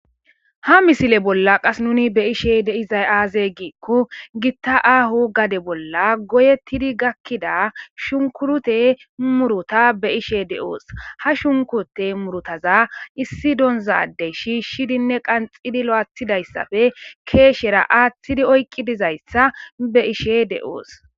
ha misile bolla qas nuni be ishe de izay aaze giikko gitta aaho gade bolla goyettidi gakkida shunkurute muruta be ishe de7oos ha shunkute murutaza issi donzadey shiishshidinne qanxidi lo7athidayssafe keeshera aaththidi oykqi dizayssa be ishe de7oos